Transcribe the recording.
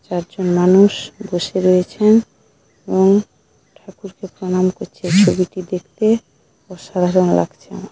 চারজন মানুষ বসে রয়েছেন এবং ঠাকুর কে প্রণাম করছে ছবিটি দেখতে অসাধারণ লাগছে আমার।